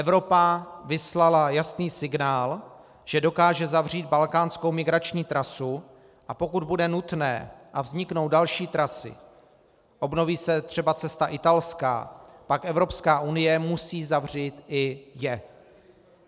Evropa vyslala jasný signál, že dokáže zavřít balkánskou migrační trasu, a pokud bude nutné a vzniknou další trasy, obnoví se třeba cesta italská, pak Evropská unie musí zavřít i je.